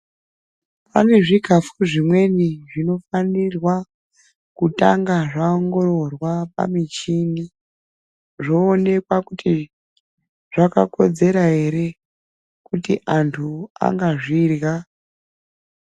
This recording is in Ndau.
Pane zvikhafu zvimweni, zvinofanirwa kutanga zvaongororwa pamichini, zvoonekwa kuti zvakakodzera ere, kuti antu angazvirya.